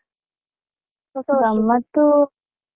ಗಮ್ಮತ್ತು.